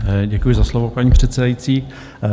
Děkuji za slovo, paní předsedající.